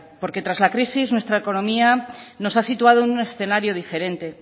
porque tras la crisis nuestra economía nos ha situado en un escenario diferente